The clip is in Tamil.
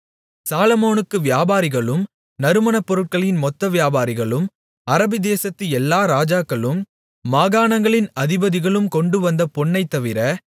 சாலொமோனுக்கு வியாபாரிகளும் நறுமணப்பொருட்களின் மொத்த வியாபாரிகளும் அரபிதேசத்து எல்லா ராஜாக்களும் மாகாணங்களின் அதிபதிகளும் கொண்டு வந்த பொன்னைத்தவிர